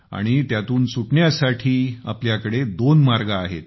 आणि त्यातून सुटण्यासाठी आपल्याकडे दोन मार्ग आहेत